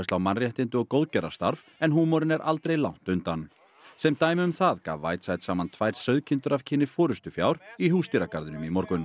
á mannréttindi og en húmorinn er aldrei langt undan sem dæmi um það gaf Whiteside saman tvær sauðkindur af kyni forystufjár í Húsdýragarðinum í morgun